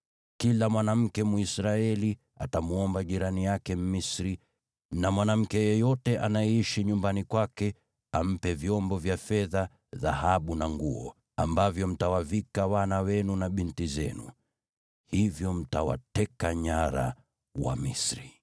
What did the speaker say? Kila mwanamke Mwisraeli atamwomba jirani yake Mmisri na mwanamke yeyote anayeishi nyumbani kwake ampe vyombo vya fedha, dhahabu na nguo, ambavyo mtawavika wana wenu na binti zenu. Hivyo mtawateka nyara Wamisri.”